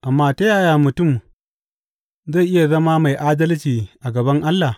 Amma ta yaya mutum zai iya zama mai adalci a gaban Allah?